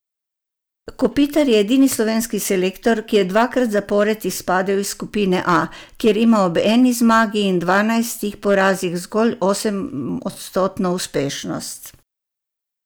Kopitar je edini slovenski selektor, ki je dvakrat zapored izpadel iz skupine A, kjer ima ob eni zmagi in dvanajstih porazih zgolj osemodstotno uspešnost.